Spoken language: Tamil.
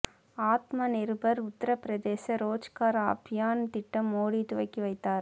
ஆத்ம நிர்பார் உத்தர பிரதேச ரோஜ்கார் அபியான் திட்டம் மோடி துவக்கிவைத்தார்